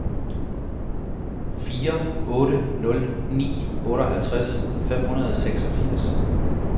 fire otte nul ni otteoghalvtreds fem hundrede og seksogfirs